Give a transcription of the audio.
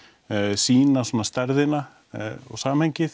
sýna svona stærðina og samhengið